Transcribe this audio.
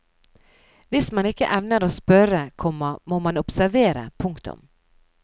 Hvis man ikke evner å spørre, komma må man observere. punktum